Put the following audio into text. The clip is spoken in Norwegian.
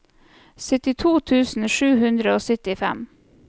syttito tusen sju hundre og syttifem